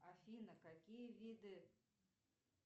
афина какие виды